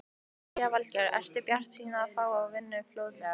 Lillý Valgerður: Ertu bjartsýnn á að fá vinnu fljótlega?